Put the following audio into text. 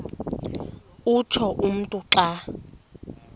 utsho umntu xa